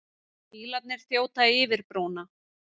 Bílarnir þjóta yfir brúna.